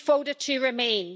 We voted to remain.